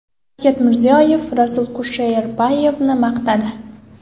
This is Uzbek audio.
Shavkat Mirziyoyev Rasul Kusherbayevni maqtadi.